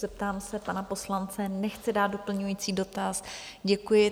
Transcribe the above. Zeptám se pana poslance - nechce dát doplňující dotaz, děkuji.